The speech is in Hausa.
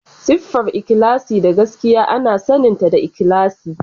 Siffar ikhlasi da gaskiya ana saninta da ikhlasi.